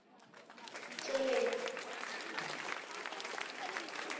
tsoleng